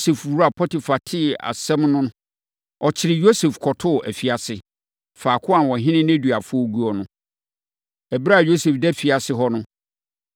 Yosef wura Potifar tee asɛm no no, ɔkyeree Yosef kɔtoo afiase, faako a ɔhene nneduafoɔ guo no. Ɛberɛ a Yosef da afiase hɔ no,